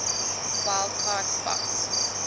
wild card spot